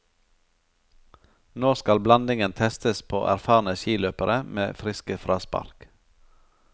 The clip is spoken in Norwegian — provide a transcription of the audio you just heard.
Nå skal blandingen testes på erfarne skiløpere med friske fraspark.